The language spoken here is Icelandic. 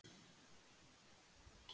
Sveinn Óli lagði hönd á öxl mér.